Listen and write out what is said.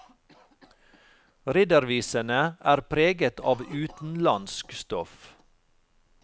Riddervisene er preget av utenlandsk stoff.